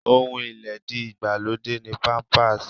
Ohun ilédi ìgbàlódé ni Pampers.